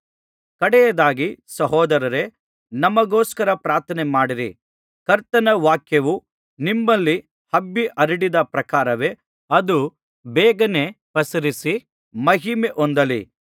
ಕಡೆಯದಾಗಿ ಸಹೋದರರೇ ನಮಗೋಸ್ಕರ ಪ್ರಾರ್ಥನೆಮಾಡಿರಿ ಕರ್ತನ ವಾಕ್ಯವು ನಿಮ್ಮಲ್ಲಿ ಹಬ್ಬಿಹರಡಿದ ಪ್ರಕಾರವೇ ಅದು ಬೇಗನೆ ಪಸರಿಸಿ ಮಹಿಮೆ ಹೊಂದಲಿ